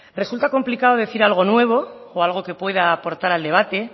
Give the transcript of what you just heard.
resulta complicado decir algo nuevo o algo que pueda aportar al debate